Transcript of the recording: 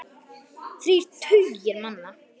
Þrír tugir manna.